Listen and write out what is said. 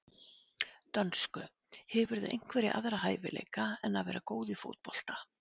dönsku Hefurðu einhverja aðra hæfileika en að vera góð í fótbolta?